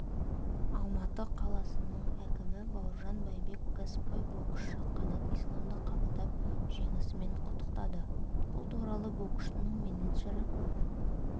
алматы қаласының әкімі бауыржан байбек кәсіпқой боксшы қанат исламды қабылдап жеңісімен құттықтады бұл туралы боксшының менеджері